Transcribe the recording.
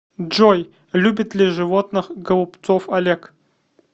джой любит ли животных голубцов олег